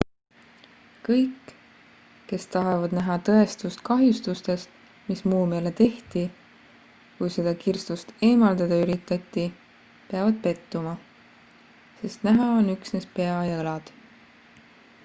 kõik kes tahavad näha tõestust kahjustustest mis muumiale tehti kui seda kirstust eemaldada üritati peavad pettuma sest näha on üksnes pea ja õlad